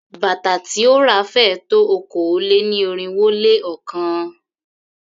Bàtà tí ó ra féé tó okòó-lé-ní-irínwó-lé-ọ̀kan.